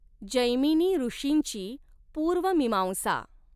जैमिनीऋषींचि पूर्व मीमांसा.